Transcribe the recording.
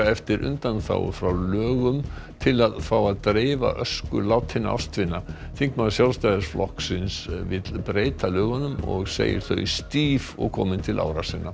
eftir undanþágu frá lögum til að fá að dreifa ösku látinna ástvina þingmaður Sjálfstæðisflokksins vill breyta lögunum og segir þau stíf og komin til ára sinna